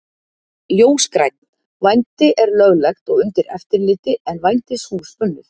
Ljósgrænn: Vændi er löglegt og undir eftirliti en vændishús bönnuð.